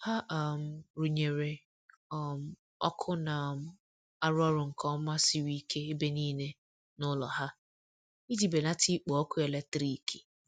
ha um runyere um ọkụ na um arụ orụ nke oma siri ike ebe nile n'ulo ha iji belata ikpo ọkụ eletrikị